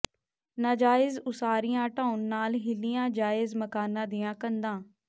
ਨਾਜਾਇਜ਼ ਉਸਾਰੀਆਂ ਢਾਹੁਣ ਨਾਲ ਹਿੱਲੀਆਂ ਜਾਇਜ਼ ਮਕਾਨਾਂ ਦੀਆਂ ਕੰਧਾਂ